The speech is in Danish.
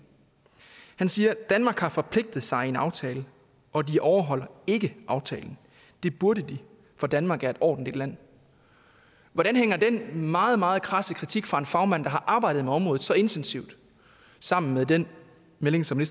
han siger danmark har forpligtet sig i en aftale og de overholder ikke aftalen det burde de for danmark er et ordentligt land hvordan hænger den meget meget krasse kritik fra en fagmand der har arbejdet med området så intensivt sammen med den melding som